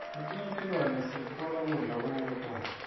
letinye tilwane sitfola kudla kuto